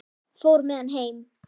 Fór með hann heim.